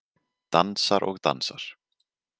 Dansar og dansar.